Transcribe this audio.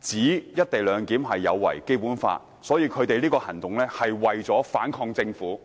指'一地兩檢'有違《基本法》，他們的行動是為了反抗政府。